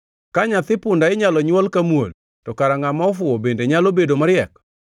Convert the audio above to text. Ka nyathi punda inyalo nywol ka muol, to kara ngʼama ofuwo bende nyalo bedo mariek.